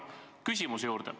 Nüüd aga küsimuse juurde.